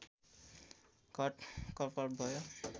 घटकर्पर भयो